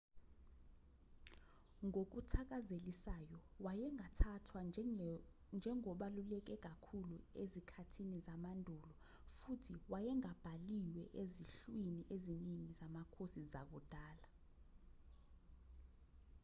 ngokuthakazelisayo wayengathathwa njengobaluleke kakhulu ezikhathini zamandulo futhi wayengabhaliwe ezinhlwini eziningi zamakhosi zakudala